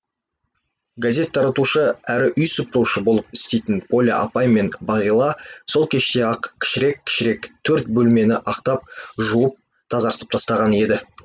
газет таратушы әрі үй сыпырушы болып істейтін поля апай мен бағила сол кеште ақ кішірек кішірек төрт бөлмені ақтап жуып тазартып тастаған еді